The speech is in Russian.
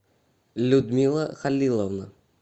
людмила халиловна